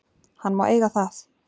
Hann má eiga það.